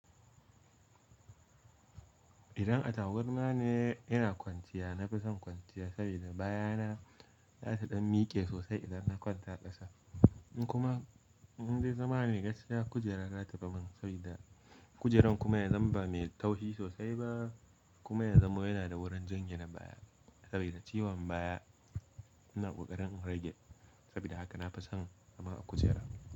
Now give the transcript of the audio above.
Idan a taburma ne ina kwanciya, na fi son kwanciya sabida, baya na za ta ɗan miƙe sosai idan na kwanta ƙasa. Kuma, in dai zama ne gaskiya, kujera za ta fi ban saboda kujerar kuma yanzu ba mai taushi sosai ba, kuma yazama yana da wurin janye na baya saboda ciwon baya. Ina ƙoƙarin in rage saboda haka na fi son zama a kujera.